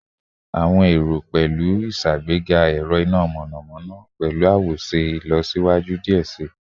Awọn ero pẹlu iṣagbega ẹrọ ina mọnamọna pẹlu awoṣe ilọsiwaju diẹ sii